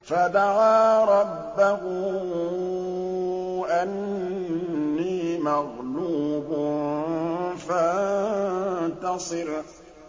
فَدَعَا رَبَّهُ أَنِّي مَغْلُوبٌ فَانتَصِرْ